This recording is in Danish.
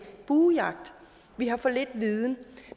buejagt vi har for lidt viden